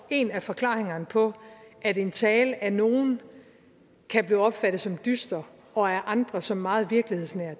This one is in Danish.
en af forklaringerne på at en tale af nogle kan blive opfattet som dyster og af andre som meget virkelighedsnær